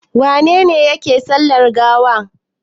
Wane ne yake sallar gawa?